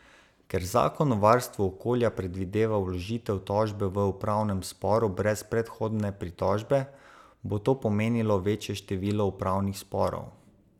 Ker zakon o varstvu okolja predvideva vložitev tožbe v upravnem sporu brez predhodne pritožbe, bo to pomenilo večje število upravnih sporov.